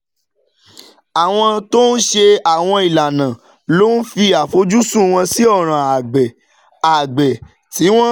Àwọn tó ń ṣe àwọn ìlànà ló ń fi àfojúsùn wọn sí ọ̀ràn àgbẹ̀, àgbẹ̀, tí wọn